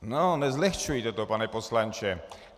No, nezlehčujte to, pane poslanče.